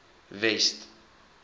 west